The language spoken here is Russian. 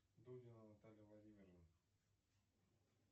дудина наталья владимировна